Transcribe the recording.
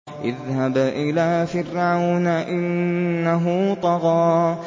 اذْهَبْ إِلَىٰ فِرْعَوْنَ إِنَّهُ طَغَىٰ